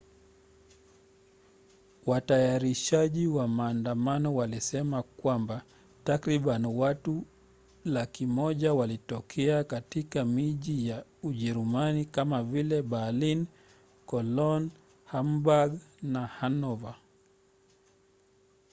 watayarishaji wa maandamano walisema kwamba takribani watu 100,000 walitokea katika miji ya ujerumani kama vile berlin cologne hamburg na hanover